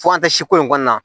Fo an tɛ si ko in kɔnɔna na